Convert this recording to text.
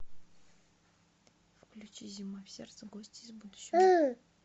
включи зима в сердце гости из будущего